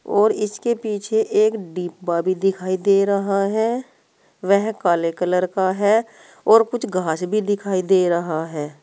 और इसके पीछे एक डिब्बा भी दिखाई दे रहा है वह काले कलर का है और कुछ घास भी दिखाई दे रहा है।